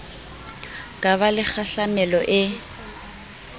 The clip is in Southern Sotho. ka ba le kgahlamelo e